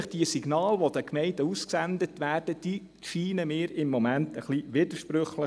Denn die Signale, die an die Gemeinden ausgesendet werden, erscheinen mir im Moment etwas widersprüchlich.